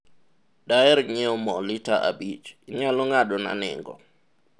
daher nyiewo mo lita abich, inyalo ng'ado na nengo